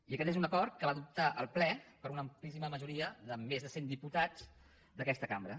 i aquest és un acord que va adoptar el ple per una amplíssima ma·joria de més de cent diputats d’aquesta cambra